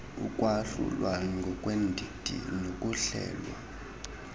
ukwahlulwa ngokweendidi nokuhlelwa